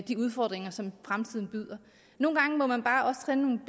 de udfordringer som fremtiden byder nogle gange må man bare også tage nogle